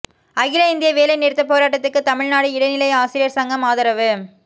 அகில இந்திய வேலை நிறுத்தப் போராட்டத்துக்குதமிழ்நாடு இடைநிலை ஆசிரியா் சங்கம் ஆதரவு